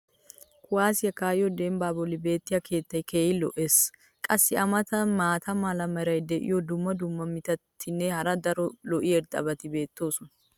kuwaassiyo kaa'iyo dembbaa boli beetiya keettay keehi lo'ees. qassi a matan maata mala meray diyo dumma dumma mitatinne hara daro lo'iya irxxabati beetoosona.